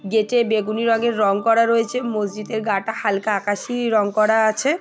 গেটে বেগুনি রঙের রঙ করা রয়েছে মসজিদের গা টা হালকা আকাশী রঙ করা আছে।